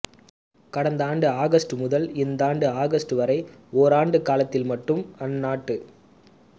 கடந்த ஆண்டு ஆகஸ்ட் முதல் இந்தாண்டு ஆகஸ்ட் வரை ஓராண்டு காலத்தில் மட்டும் அந்நாட்டு